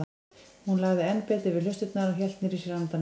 Hún lagði enn betur við hlustirnar og hélt niðri í sér andanum.